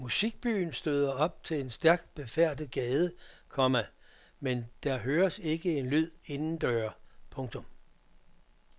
Musikbyen støder op til en stærkt befærdet gade, komma men der høres ikke en lyd inden døre. punktum